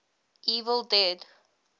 evil dead